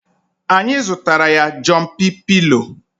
Anyị zụtara ya Jọmpị pịlo